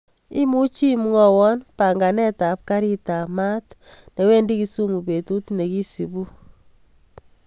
Imuchi imwawon panganet ap karit ap maat newendi kisumu betut nekisupu